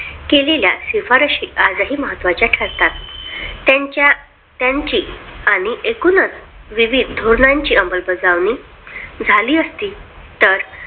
केलेल्या शिफारशी आजही महत्त्वाच्या ठरतात त्यांच्या त्यांची आणि एकूणच विविध धोरणांची अंमलबजावणी झाली असती तर